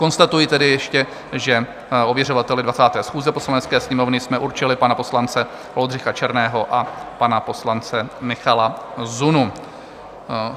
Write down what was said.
Konstatuji tedy ještě, že ověřovateli 20. schůze Poslanecké sněmovny jsme určili pana poslance Oldřicha Černého a pana poslance Michala Zunu.